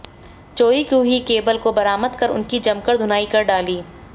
चोरी की हुई केबल को बरामद कर उनकी जमकर धुनाई कर डाली